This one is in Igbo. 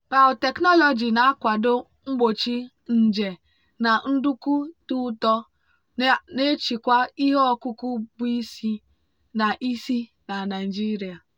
biotechnology na-akwado mgbochi nje na nduku dị ụtọ na-echekwa ihe ọkụkụ bụ isi na isi na nigeria.